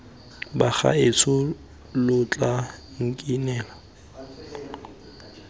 bagaetsho lo tla nkinela diatla